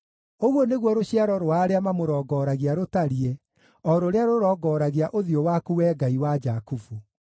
Ũguo nĩguo rũciaro rwa arĩa mamũrongoragia rũtariĩ, o rũrĩa rũrongoragia ũthiũ waku, Wee Ngai wa Jakubu.